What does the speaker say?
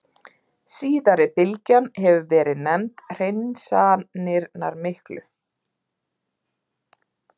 Síðari bylgjan hefur verið nefnd Hreinsanirnar miklu.